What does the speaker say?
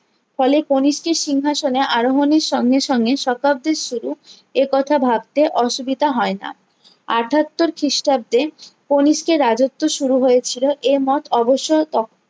ফলে কণিষ্কের সিংহাসনে আরোহনের সঙ্গে সঙ্গে শতাব্দীর সেরা এ কথা ভাবতে অসুবিধা হয়ে না আটাত্তর খ্রিষ্টাব্দে কণিষ্কের রাজ্যত্ব শুরু হয়েছিলো এ মত অবসর